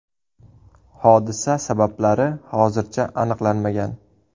Hodisa sabablari hozircha aniqlanmagan.